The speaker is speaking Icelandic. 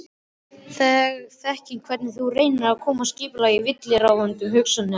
Þekki hvernig þú reynir að koma skipulagi á villuráfandi hugsanirnar.